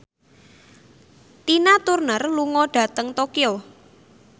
Tina Turner lunga dhateng Tokyo